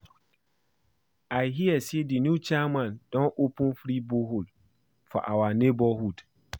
I hear say the new chairman don open free borehole for our neighborhood